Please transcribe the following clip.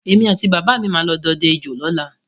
Èmi àti bàbà mi máa lọ dọdẹ ejò lọ́la